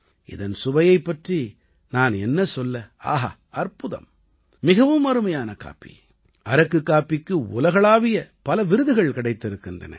இதன் சுவையைப் பற்றி நான் என்ன சொல்ல ஆஹா அற்புதம் மிகவும் அருமையான காப்பி அரக்கு காப்பிக்கு உலகளாவிய பல விருதுகள் கிடைத்திருக்கின்றன